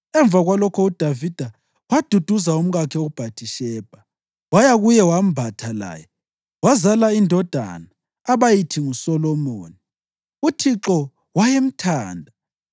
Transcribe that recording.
Emva kwalokho uDavida waduduza umkakhe uBhathishebha, waya kuye wembatha laye. Wazala indodana abayithi nguSolomoni. UThixo wayemthanda;